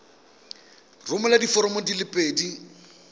romela diforomo di le pedi